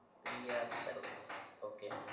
Piya Sarvaiya ok